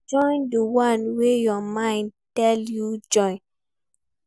Join di one way your mind tell you make you join